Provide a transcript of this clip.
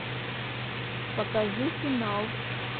покажи финал